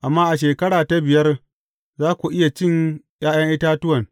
Amma a shekara ta biyar, za ku iya cin ’ya’yan itatuwan.